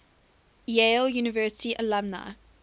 yale university alumni